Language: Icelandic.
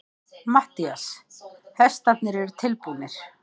MATTHÍAS: Hestarnir eru tilbúnir.